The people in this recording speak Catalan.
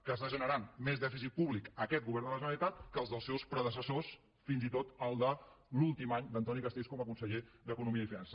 que està generant més dèficit públic aquest govern de la generalitat que els dels seus predecessors fins i tot el de l’últim any d’antoni castells com a conseller d’economia i finances